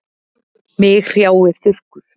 Mig hrjáir þurrkur.